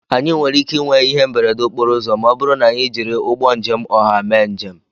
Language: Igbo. Anyị nwere ike ịnwe ihe mberede okporo ụzọ ma ọ bụrụ na anyị jiri ụgbọ njem ọha mee njem